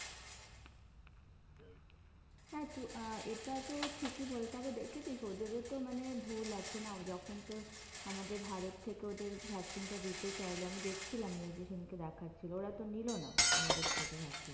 হ্যাঁ তো আহ এটা তো ঠিকই বলে তারপরে দেখেছিস ওদেরোতো মানে ভুল আছে না। যখন তোর আমাদের ভারত থেকে ওদের vaccine টা দিতে চাইল, আমি দেখছিলাম news এ সেদিন কে দেখাচ্ছিল, ওরা তো নিলো না আমাদের থেকে vaccine টা।